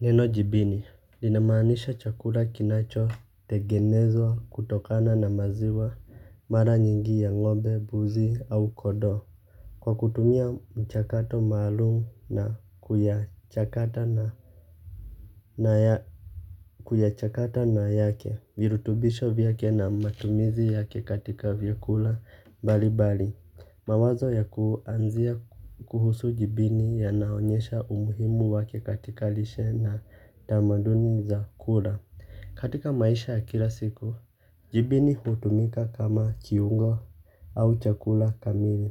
Neno jibini, linamaanisha chakula kinachotengenezwa kutokana na maziwa mara nyingi ya ngombe, mbuzi au kondoo. Kwa kutumia mchakato maalum na kuyachakata na yake, virutubisho vyake na matumizi yake katika vyakula mbalimbali. Mawazo ya kuanzia kuhusu jibini yanaonyesha umuhimu wake katika lishe na tamaduni za kula. Katika maisha ya kila siku, jibini hutumika kama kiungo au chakula kamili.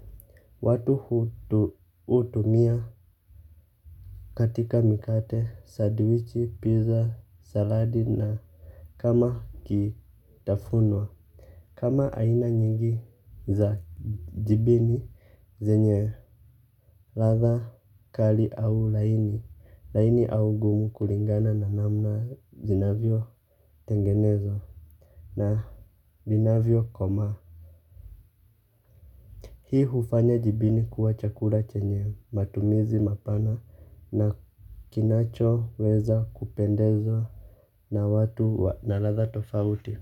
Watu hutumia katika mikate, sandwich, pizza, saladi na kama kitafunwa. Kama aina nyingi za jibini zenye ladha kali au laini, laini au gumu kulingana na namna zinavyotengenezwa na vinavyokomaa. Hii hufanya jibini kuwa chakula chenye matumizi mapana na kinachoweza kupendezwa na watu na ladha tofauti.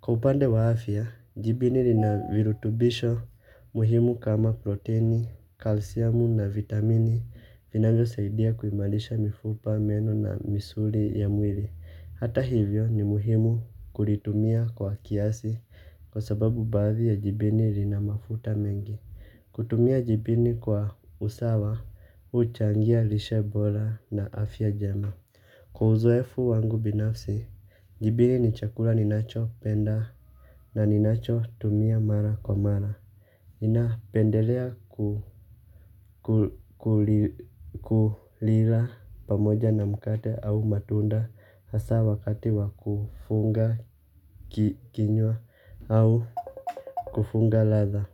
Kwa upande wa afya, jibini lina virutubisho muhimu kama proteini, kalsiamu na vitamini vinavyosaidia kuimarisha mifupa, meno na misuri ya mwili. Hata hivyo ni muhimu kulitumia kwa kiasi kwa sababu baadhi ya jibini lina mafuta mengi. Kutumia jibini kwa usawa, huchangia lishe bora na afya jema. Kwa uzoefu wangu binafsi, jibini ni chakula ninachopenda na ninachotumia mara kwa mara. Napendelea kulila pamoja na mkate au matunda hasa wakati wa kufunga kinywa au kufunga ladha.